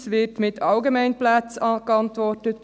Einerseits wird mit Allgemeinplätzen geantwortet.